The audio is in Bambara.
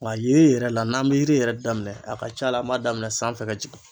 Nga yiri yɛrɛ la n'an bɛ yiri yɛrɛ daminɛ a ka ca la an m'a daminɛ sanfɛ ka jigin.